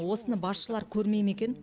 осыны басшылар көрмей ме екен